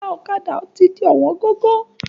Ẹ̀yà ọ̀kadà ti di ọ̀wọ́n gógó.